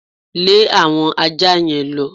Lẹ́ àwọn aja yẹn lọ!